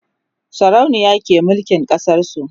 sarauniya ke mulkin ƙasar su